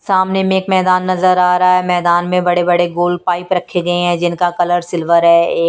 सामने में एक मैदान नजर आ रहा है मैदान में बड़े-बड़े गोल पाइप रखे गए हैं जिनका कलर सिल्वर है ए--